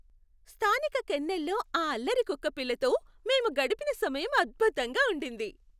స్థానిక కెన్నెల్లో ఆ అల్లరి కుక్కపిల్లతో మేము గడిపిన సమయం అద్భుతంగా ఉండింది.